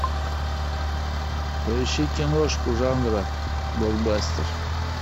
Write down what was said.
поищи киношку жанра блокбастер